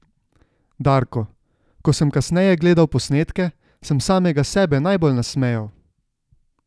Darko: "Ko sem kasneje gledal posnetke, sem samega sebe najbolj nasmejal.